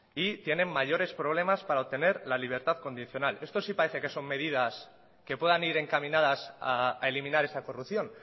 y tienen mayores problemas para obtener la libertad condicional esto sí parece que son medidas que puedan ir encaminadas a eliminar esa corrupción